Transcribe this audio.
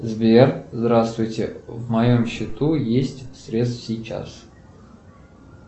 сбер здравствуйте в моем счету есть средств сейчас